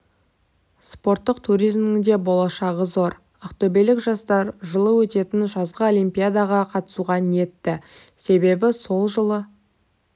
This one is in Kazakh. спорттық туризмнің де болашағы зор ақтөбелік жастар жылы өтетін жазғы олимпиадаға қатысуға ниетті себебі сол жылы